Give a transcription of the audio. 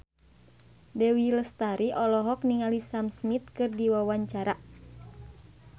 Dewi Lestari olohok ningali Sam Smith keur diwawancara